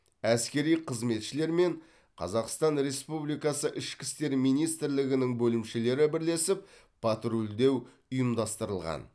әскери қызметшілер мен қазақстан республикасы ішкі істер министрлігінің бөлімшелері бірлесіп патрульдеу ұйымдастырылған